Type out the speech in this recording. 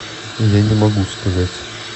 я не могу сказать